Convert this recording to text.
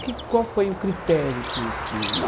O que Qual foi o critério que que?